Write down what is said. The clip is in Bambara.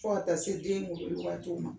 Fo ka se den waatiw ma